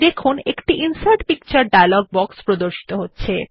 দেখুন একটি insert picture dialog box প্রদর্শিত হচ্ছে